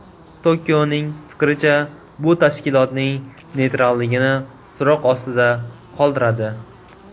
Tokioning fikricha, bu tashkilotning neytralligini so‘roq ostida qoldiradi.